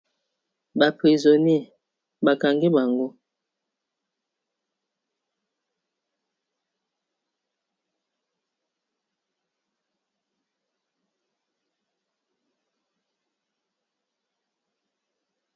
ba prisonniers bakangi bango